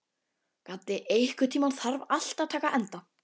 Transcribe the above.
Gaddi, einhvern tímann þarf allt að taka enda.